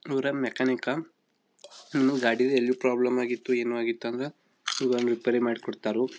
ಇವ್ರೇ ಮ್ಯಾಕಾನಿಕ್ಕ ಇನ್ನು ಗಾಡಿಲೆಲ್ಲಿ ಪ್ರಾಬ್ಲಮ್ ಆಗಿತ್ತು ಏನು ಆಗಿತ್ತು ಅಂದ್ರ ಇವ್ರೇ ರಿಪೈರಿ ಮಾಡ್ಕೊಡ್ತಾರು.